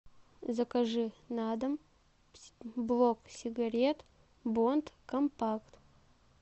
закажи на дом блок сигарет бонд компакт